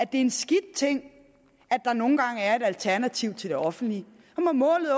det er en skidt ting at der nogle gange er et alternativ til det offentlige målet